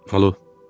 Alo.